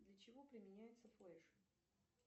для чего применяется флэш